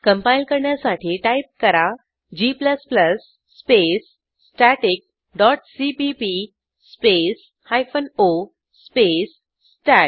compile करण्यासाठी type करा g space static dot CPP space hyphen O space stat